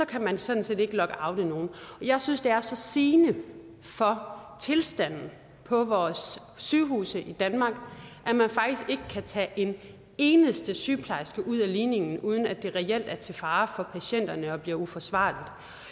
kan man sådan set ikke lockoute nogen jeg synes det er så sigende for tilstanden på vores sygehuse i danmark at man faktisk ikke kan tage en eneste sygeplejerske ud af ligningen uden at det reelt er til fare for patienterne og bliver uforsvarligt